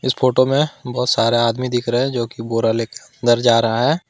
Photo में बहुत सारे आदमी दिख रहे है जोकि बोरा लेके अंदर जा रहा है।